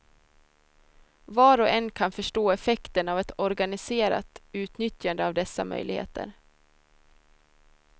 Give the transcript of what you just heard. Var och en kan förstå effekten av ett organiserat utnyttjande av dessa möjligheter.